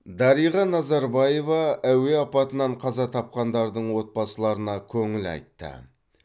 дариға назарбаева әуе апатынан қаза тапқандардың отбасыларына көңіл айтты